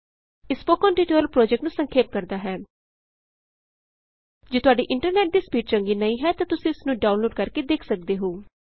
ਇਹ spoken tutorial project ਨੂੰ ਸੰਖੇਪ ਕਰਦਾ ਹੈ ਜੇ ਤੁਹਾਡੇ ਇੰਟਰਨੈਟ ਦੀ ਸਪੀਡ ਚੰਗੀ ਨਹੀਂ ਹੈ ਤਾਂ ਤੁਸੀਂ ਇਸ ਨੂੰ ਡਾਊਨਲੋਡ ਕਰਕੇ ਦੇਖ ਸਕਦੇ ਹੋ